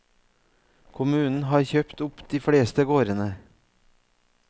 Kommunen har kjøpt opp de fleste gårdene.